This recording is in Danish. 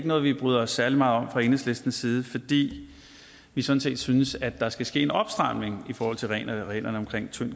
noget vi bryder os særlig meget om fra enhedslistens side fordi vi sådan set synes at der skal ske en opstramning af reglerne reglerne om tynd